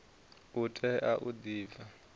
u tea u di pfa